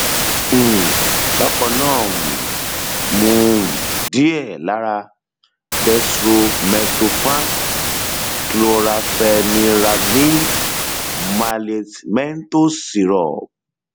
um bákan náà um mu um díẹ lára dextromethorphan chlorampheniramine maleate menthol syrup